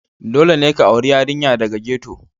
Dole ne ka auri yarinya daga ghetto,